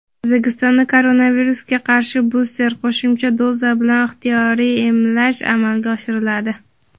O‘zbekistonda koronavirusga qarshi buster (qo‘shimcha) doza bilan ixtiyoriy emlash amalga oshiriladi.